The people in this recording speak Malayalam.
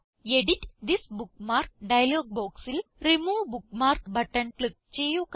എഡിറ്റ് തിസ് ബുക്ക്മാർക്ക് ഡയലോഗ് ബോക്സിൽ റിമൂവ് ബുക്ക്മാർക്ക് ബട്ടൺ ക്ലിക്ക് ചെയ്യുക